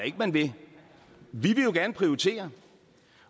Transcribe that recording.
ikke man vil vi vil gerne prioritere